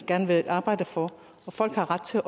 gerne vil arbejde for og folk har ret til